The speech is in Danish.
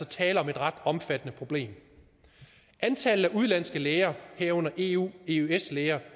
tale om et ret omfattende problem antallet af udenlandske læger herunder eu eøs læger